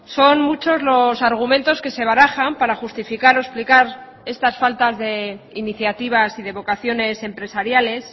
son muchos los argumentos que se barajan para justificar o explicar estas faltas de iniciativas y de vocaciones empresariales